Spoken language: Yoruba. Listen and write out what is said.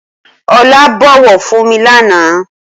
Olá bọ̀wọ̀ fún mi lànà